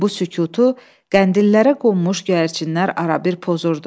Bu sükutu qəndillərə qonmuş gərçinlər arabir pozurdu.